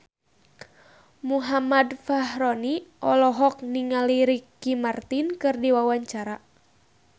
Muhammad Fachroni olohok ningali Ricky Martin keur diwawancara